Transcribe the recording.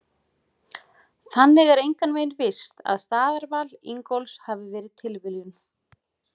Þannig er engan veginn víst að staðarval Ingólfs hafi verið tilviljun!